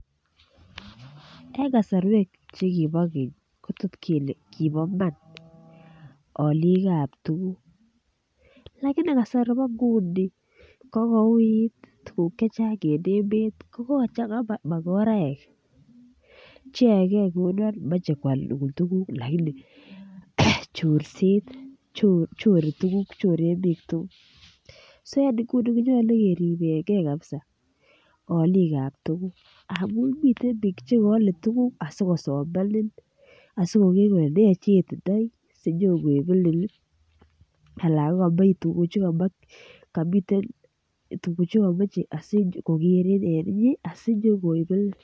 En kasarwek Che kibo keny ko tot kele kibo iman olik ab tuguk lakini kasari bo nguni kogouit tuguk Che Chang en emet kogochanga makoraek cheyoege kouon moche koal tuguk lakini chorset choren bik tuguk so en nguni ko nyolu keriben ge kabisa alikab tuguk ngamun miten bik Che kaale tuguk asikosomanin asi koger kole ne chitindoi asi nyon koibenen anan ko komiten tuguk Che kamoche koger en inye asi nyo koibenen